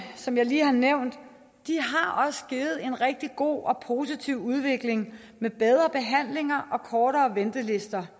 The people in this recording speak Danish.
som jeg lige har nævnt har også givet en rigtig god og positiv udvikling med bedre behandlinger og kortere ventelister